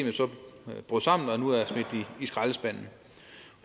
og sammen og nu er smidt i skraldespanden